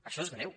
això és greu